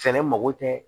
Fɛɛrɛ mako tɛ